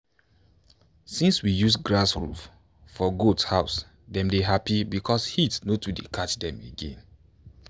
since we use grass roof for goat house dem dey happy because heat no dey too catch dem again.